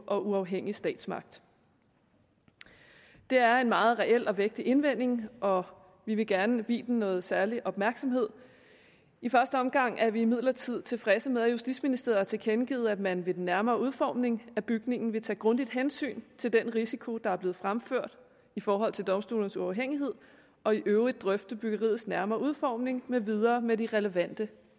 og uafhængig statsmagt det er en meget reel og vægtig indvending og vi vil gerne give den noget særlig opmærksomhed i første omgang er vi imidlertid tilfredse med at justitsministeriet har tilkendegivet at man ved den nærmere udformning af bygningen vil tage grundigt hensyn til den risiko der er blevet fremført i forhold til domstolenes uafhængighed og i øvrigt grundigt drøfte byggeriets nærmere udformning med videre med de relevante